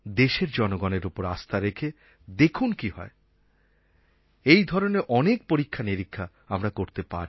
দেশের জনগণের ওপর আস্থা রেখে দেখুন কী হয় এই ধরনের অনেক পরীক্ষানিরীক্ষা আমরা করতে পারি